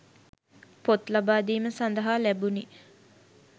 පොත් ලබාදීම සඳහා ලැබුණි